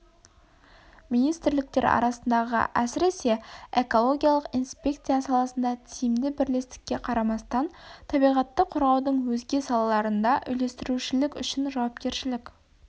министрліктер арасындағы әсіресе экологиялық инспекция саласында тиімді бірлестікке қарамастан табиғатты қорғаудың өзге салаларында үйлестірушілік үшін жауапкершілік